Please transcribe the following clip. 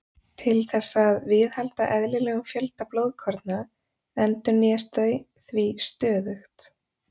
Til þess að viðhalda eðlilegum fjölda blóðkorna endurnýjast þau því stöðugt.